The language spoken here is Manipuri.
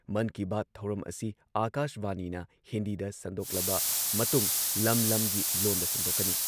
ꯃꯟ ꯀꯤ ꯕꯥꯠ ꯊꯧꯔꯝ ꯑꯁꯤ ꯑꯥꯀꯥꯁꯕꯥꯅꯤꯅ ꯍꯤꯟꯗꯤꯗ ꯁꯟꯗꯣꯛꯂꯕ ꯃꯇꯨꯡ ꯂꯝ-ꯂꯝꯒꯤ ꯂꯣꯟꯗ ꯁꯟꯗꯣꯛꯀꯅꯤ